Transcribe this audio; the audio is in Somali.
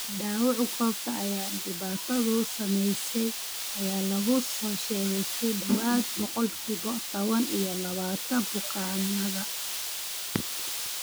Dhaawaca goobta ay dhibaatadu saameysey ayaa lagu soo sheegey ku dhawaad ​​boqolkibo taban iyo labatan bukaanada.